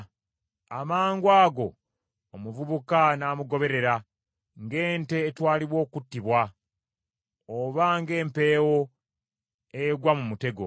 Amangwago omuvubuka n’amugoberera ng’ente etwalibwa okuttibwa obanga empeewo egwa mu mutego,